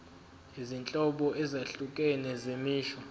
izinhlobo ezahlukene zemisho